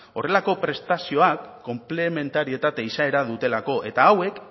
horrelako prestazioak konplementarietate izaera dutelako eta hauek